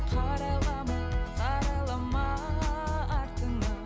қарайлама қарайлама артыңа